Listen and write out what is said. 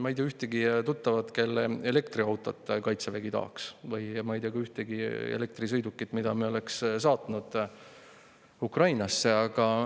Ma ei tea ühtegi tuttavat, kelle elektriautot Kaitsevägi tahaks, ja ma ei tea ka ühtegi elektrisõidukit, mida me oleks saatnud Ukrainasse.